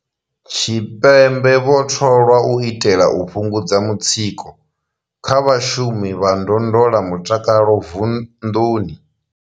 Tshipembe vho tholwa u itela u fhungudza mutsiko kha vhashumi vha ndondolamutakalo vunḓuni.